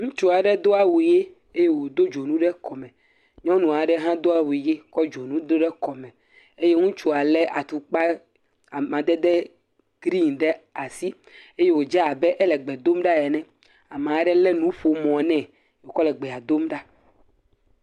Ŋutsu aɖe do awu ʋe eye wòdo dzonu ɖe kɔme. Nyɔnu aɖe hã do awu ʋe kɔ dzonu do ɖe kɔme. Eye ŋutsua lé atukpa amadede grini ɖe asi eye wòdze abe ele gbe dom ɖa ene. Ame aɖe lé nuƒomɔ nɛ wòkɔ le gbea dom ɖa.